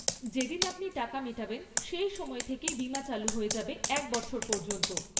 যেদিন আপনি টাকা মেটাবেন সেই সময় থেকেই বিমা চালু হয়ে যাবে এক বছর পর্যন্ত।